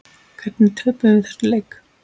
Hvernig töpuðum við þessum leik?